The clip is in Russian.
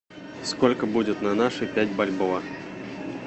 сколько будет на наши пять бальбоа